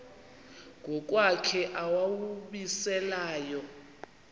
ngokwakhe owawumise layo